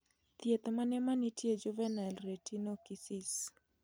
Thieth mane manitie ne juvenile retinoschisis